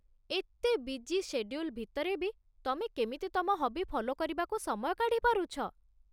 ଏତେ busy schedule ଭିତରେ ବି ତମେ କେମିତି ତମ ହବି ଫଲୋ କରିବାକୁ ସମୟ କାଢ଼ିପାରୁଛ?